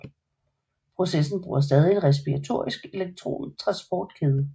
Processen bruger stadig en respiratorisk elektron transportkæde